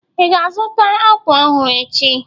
Ị ga-azụta akwa ọhụrụ echi?